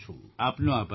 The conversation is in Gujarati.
આપનો આભાર સર